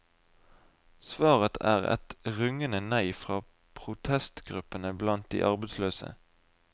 Svaret er et rungende nei fra protestgruppene blant de arbeidsløse.